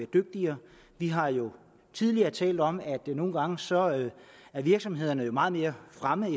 dygtigere vi har jo tidligere talt om at det nogle gange er sådan at virksomhederne er meget længere fremme